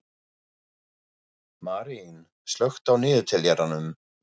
Marín, slökktu á niðurteljaranum.